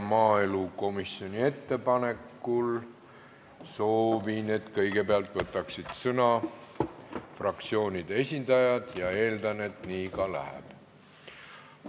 Maaelukomisjoni ettepanekul soovin, et kõigepealt võtaksid sõna fraktsioonide esindajad, ja eeldan, et nii ka läheb.